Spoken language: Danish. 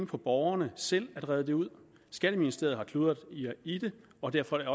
på borgerne selv at redde det ud skatteministeriet har kludret i det og derfor er